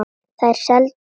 Þær seldust illa.